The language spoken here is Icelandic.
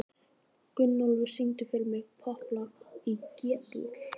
Gunnólfur, syngdu fyrir mig „Popplag í G-dúr“.